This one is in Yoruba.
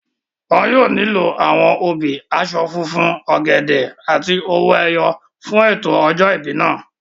Wọn yóò nílò àwọn obì, aṣọ funfun, ọ̀gẹ̀dẹ̀ àti owó ẹyọ fún ètò ọjọ́ ìbí náà